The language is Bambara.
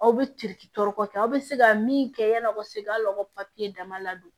Aw bɛ aw bɛ se ka min kɛ yani aw ka se ka aw ka papiye dama ladon